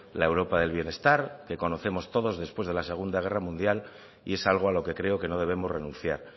la europa del bienestar que conocemos todos después de la segunda guerra mundial y es algo a lo que creo que no debemos renunciar